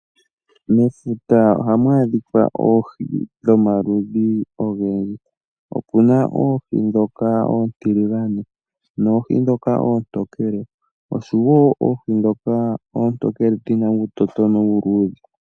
Mefuta ohamu adhika oohi dhomaludhi ogendji opena oohi dhoka oontiligane noohi dhoka oontokele oshowo oohi dhoka oontokele dhina uutotono uuludhe.